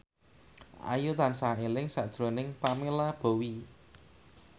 Ayu tansah eling sakjroning Pamela Bowie